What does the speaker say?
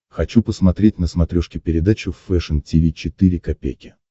хочу посмотреть на смотрешке передачу фэшн ти ви четыре ка